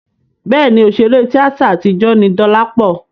Bẹ́ẹ̀ni, òṣèré tíátà àtijọ́ ni Dọlápọ̀